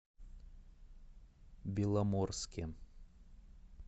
беломорске